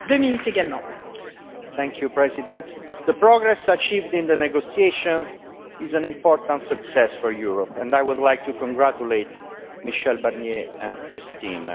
Madam President, the progress achieved in the negotiations is an important success for Europe, and I would like to congratulate Michel Barnier and his team.